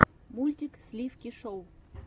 мультик сливки шоу